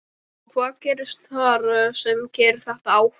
Edda: Og hvað gerist þar sem að keyrir þetta áfram?